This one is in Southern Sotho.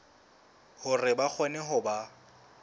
hore ba kgone ho ba